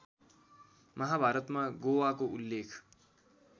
महाभारतमा गोवाको उल्लेख